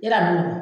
Yala a ma nɔgɔn